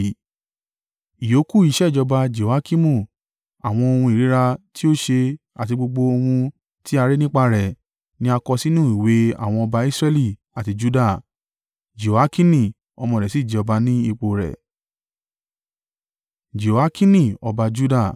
Ìyókù iṣẹ́ ìjọba Jehoiakimu, àwọn ohun ìríra tí ó ṣe àti gbogbo ohun tí a rí nípa rẹ̀, ni a kọ sínú ìwé àwọn ọba Israẹli àti Juda. Jehoiakini ọmọ rẹ̀ sì jẹ ọba ní ipò rẹ̀.